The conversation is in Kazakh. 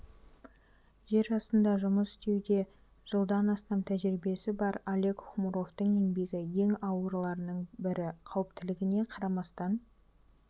жер астында жұмыс істеуде жылдан астам тәжірибесі бар олег хмуровтың еңбегі ең ауырларының бірі қауіптілігіне қарамастан